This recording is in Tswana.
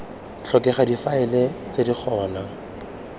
tlhokega difaele tse di gona